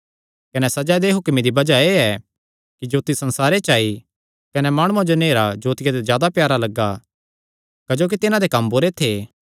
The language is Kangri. कने सज़ा दे हुक्मे दी बज़ाह एह़ ऐ कि जोत्ती संसारे च आई कने माणुआं जो नेहरा जोतिया ते जादा प्यारा लग्गा क्जोकि तिन्हां दे कम्म बुरे थे